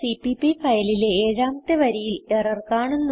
CPP ഫയലിലെ ഏഴാമത്തെ വരിയിൽ എറർ കാണുന്നു